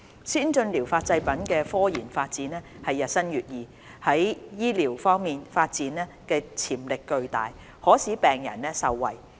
先進療法製品的科研發展日新月異，在醫療方面的發展潛力巨大，可使病人受惠。